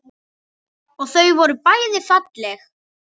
Og þau voru bæði falleg.